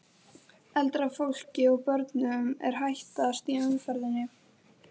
Eldra fólki og börnum er hættast í umferðinni.